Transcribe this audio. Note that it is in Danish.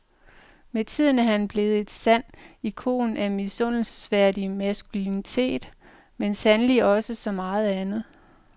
Med tiden er han blevet en sand ikon af misundelsesværdig maskulinitet, men sandelig også så meget andet.